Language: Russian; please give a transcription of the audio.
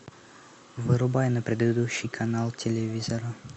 вырубай на предыдущий канал телевизора